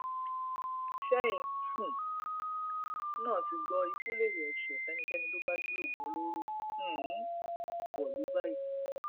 ṣẹyìn um náà ti gbọ ikú lérè ẹsẹ fẹnikẹni tó bá gbé oògùn olóró um wọlú báyìí